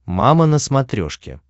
мама на смотрешке